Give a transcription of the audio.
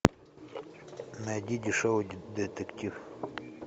найди дешевый детектив